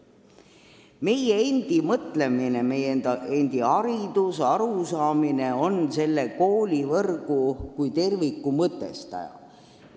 Meie endi mõtlemine, meie endi haridusarusaam on selle koolivõrgu kui terviku mõtestaja.